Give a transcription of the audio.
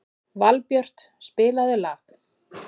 Valbjört, spilaðu lag.